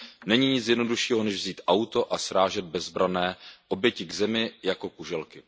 Není nic jednoduššího než vzít auto a srážet bezbranné oběti k zemi jako kuželky.